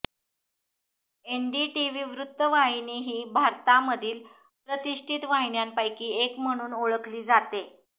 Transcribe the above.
NDTV वृत्तवाहिनी ही भारतामधील प्रतिष्ठित वाहिन्यांपैकी एक म्हणून ओळखली जाते